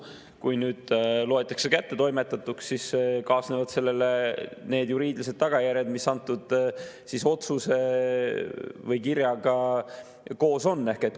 Kui nüüd loetakse kättetoimetatuks, siis kaasnevad sellega need juriidilised tagajärjed, mis antud kirjaga koos on.